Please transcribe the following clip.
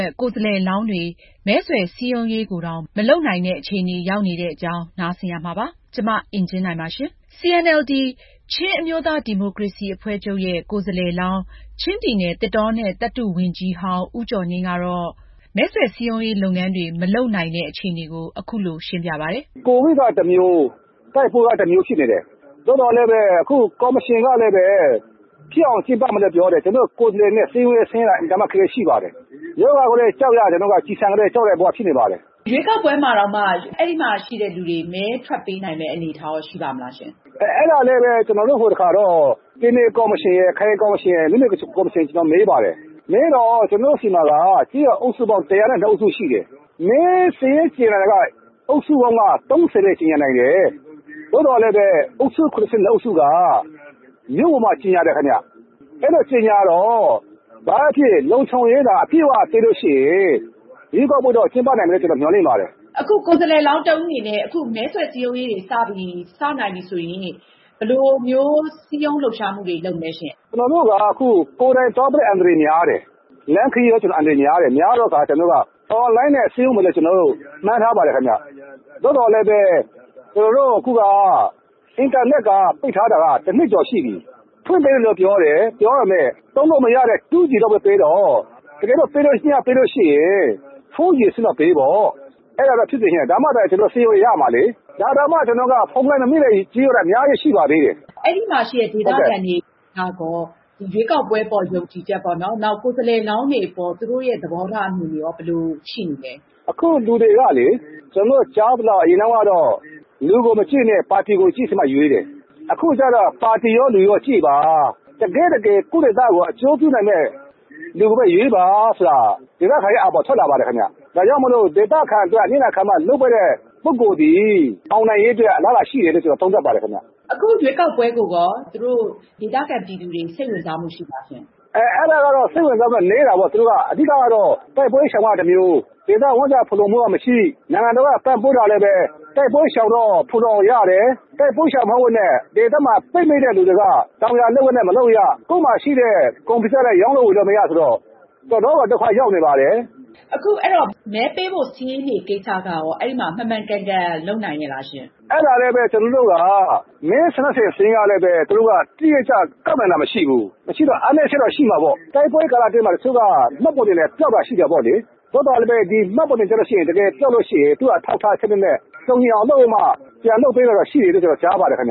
ယ့် ကိုယ်စားလှယ်လောင်းတဦး ရင်ဆိုင်နေရတဲ့ အနေအထား အရင်ဆုံးပြောပြပါအုံးရှင့်။ COVID က တမျိုး၊ တိုက်ပွဲက တမျိုးဖြစ်နေတယ်။ သို့သော်လည်းပဲ ခု ကော်မရှင်ကလည်းပဲ ဖြစ်အောင် ကျင်းပမယ်လို့ ပြောတယ်။ ကျနော်တို့ ကိုယ်စားလှယ်တွေ စည်းရုံးရေးဆင်းတာ အင်မတန်မှ အခက်အခဲ ရှိပါတယ်။ ရောဂါကိုလည်း ကြောက်ရတယ်၊ ကျည်ဆံကိုလည်း ကြောက်ရတဲ့ ဘဝ ဖြစ်နေပါတယ်။ ရွေးကောက်ပွဲကိုတောင်မှ အဲ့ဒီမှာ ရှိတဲ့သူတွေ မဲထွက်ပေးနိုင်မယ့် အနေအထားရော ရှိပါ့မလားရှင့်။ အဲဒါလည်းပဲ ကျနော်တို့ ဟိုတခါတော့ ရွေးကောက်ပွဲ ကော်မရှင်ကို မေးပါတယ်။ မေးတော့ ကျနော်တို့ဆီမှာက ကျေးရွာ အုပ်စုပေါင်း ၁၀၂ အုပ်စုရှိတယ်။ မဲစာရင်းတင်တာက အုပ်စုပေါင်းက ၃၀ နဲ့ တင်နိုင်တယ်။ သို့သော်လည်းပဲ အုပ်စု ၇၂ အုပ်စုက မြို့ပေါ်မှာ ကြေငြာတယ် ခင်ဗျ။ အဲ့ဒီလို ကြေငြာတော့ ဘာပဲဖြစ်ဖြစ် လုံခြုံရေးက အပြည့်အဝပေးလို့ရှိရင် ရွေးကောက်ပွဲကျင်းပနိုင်မယ်လို့တော့ မျှော်လင့်ပါတယ်။ အခုကိုယ်စားလှယ်လောင်း တဦးအနေနဲ့ အခုမဲဆွယ်စည်းရုံးရေးတွေ စနိုင်ပြီဆိုရင် ဘယ်လိုမျိုးစည်းရုံးလှုပ်ရှားမှုတွေ လုပ်မလဲရှင့်။ ကျနော်တို့က အခု ကိုယ်တိုင်သွားမယ့် အန္တရာယ်များတယ်။ လမ်းခရီးလည်း အန္တရာယ်များတယ်။ များတဲ့အခါကျတော့ ကျနော်တို့က online နဲ့ စည်းရုံးမယ်လို့ ကျနော်တို့ မှန်းထားပါတယ် ခင်ဗျ။ သို့သော်လည်းပဲ ကျနော်တို့ အခုက အင်တာနက်က ပိတ်ထားတာက တနှစ်ကျော် ရှိပြီ။ ဖွင့်ပေးတယ်လို့ ပြောတယ်။ ပြောပေမဲ့ သုံးလို့ မရတဲ့ 2G လောက်ပဲ ပေးတော့... တကယ်လို့ ပေးလို့ရှိရင် 4G လောက်တော့ ပေးပေါ့။ အဲဒါတော့ ကျနော်တို့ ဖြစ်စေချင်တယ်။ ဒါမှသာ ကျနော်တို့ စည်းရုံးရေးဆင်းလို့ ရမှာလေ။ ဒါတောင်မှ ကျနော်တို့က ဖုန်းလိုင်းမမိတဲ့ ကျေးရွာတွေ အများကြီးရှိပါသေးတယ်။ အဲဒီမှာ ရှိတဲ့ ဒေသခံတွေကရော ရွေးကောက်ပွဲအပေါ် ယုံကြည်ချက်ပေါ့နော်၊ နောက် ကိုယ်စားလှယ်လောင်းတွေအပေါ် သူတို့ရဲ့ သဘောထားအမြင်တွေရော ဘယ်လို ရှိနေလဲ။ အခုလူတွေကလေ... ကျနော်တို့ ကြားရသလောက် အရင်တုန်းကတော့ လူကို မကြည့်နဲ့ ပါတီကိုကြည့်ပြီးတော့မှ ရွေးတယ်။ အခုကျတော့ ပါတီရော၊ လူရော ကြည့်ပါ။ တကယ့်တကယ် ကိုယ့်ဒေသကို အကျိုးပြုနိုင်မယ့် လူကိုပဲ ရွေးပါဆိုတဲ့ ဒေသခံတွေရဲ့ အာဘော်ထွက်လာပါတယ်ခင်ဗျ။ ဒါကြောင့်မို့ ဒေသခံအတွက် အနစ်နာခံပြီး လုပ်ပေးတဲ့ ပုဂ္ဂိုလ်သည် အောင်နိုင်ရေးအတွက် အလားလာရှိတယ်လို့ ကျနော်သုံးသပ်ပါတယ် ခင်ဗျ။ အခုရွေးကောက်ပွဲကိုရော ဒေသခံ ပြည်သူတွေ စိတ်ဝင်စားမှု ရှိလားရှင့်။ အဲဒါကတော့ စိတ်ဝင်စားမှုနည်းတာပေါ့။ သူတို့က အဓိကကတော့ တိုက်ပွဲ ရှောင်ရတာ တမျိုး၊ ဝမ်းစာဖူလုံမှုက မရှိ၊ နိုင်ငံတော်က ပံ့ပိုးတာလည်းပဲ တိုက်ပွဲရှောင်တော့ ခိုလှုံရာရတယ်။ တိုက်ပွဲရှောင်ရင်း ဒေသမှာ ပိတ်မိတဲ့လူတွေက တောင်ယာလုပ်ငန်းတွေ မလုပ်ရ၊ ကိုယ့်မှာရှိတဲ့ ကုန်တွေကိုလည်း ရောင်းဝယ်လို့လည်းမရဆိုတော့ တော့်တော်ကို ဒုက္ခရောက်နေပါတယ်။ အခုအဲဒီတော့ မဲပေးဖို့ စာရင်း ကိစ္စကရော အဲဒီမှာ မှန်မှန်ကန်ကန်လုပ်နိုင်ရဲ့လားရှင့်။ အဲဒါလည်းပဲ ကျနော်တို့က မဲဆန္ဒရှင်စာရင်းကလည်း သူတို့က တိတိကျကျ ကောက်ခံတာ မရှိဘူး။ မရှိတော့ အားနည်းချက်တော့ရှိမှာပေါ့။ တိုက်ပွဲကာလအတွင်းမှာ တချို့က မှတ်ပုံတင်တွေလည်း ပျောက်တာရှိတယ်ပေါ့လေ။ သို့သော်လည်းပဲ ဒီမှတ်ပုံတင်ပျောက်လို့ရှိရင် အထောက်အထားစနစ်နဲ့ ပြန်လုပ်ပေးတာရှိတယ်လို့တော့ ကျနော်ကြားပါတယ် ခင်ဗ